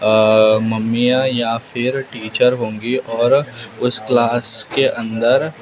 अ मम्मियां या फिर टीचर होंगी और उस क्लास के अंदर--